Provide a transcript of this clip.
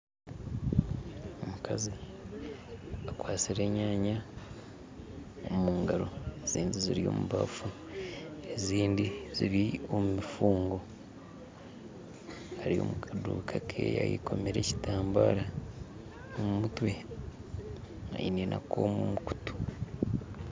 Abakazi bakwatsire enyaanya omugaro ezindi ziri omu baafu ezindi ziri omu mifungo ari omu kaduuka ke eyekomire ekitambara omu mutwe aine n'akooma omu kutu